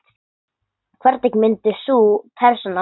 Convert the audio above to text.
Hvernig myndi sú persóna vera?